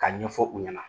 Ka ɲɛfɔ u ɲɛna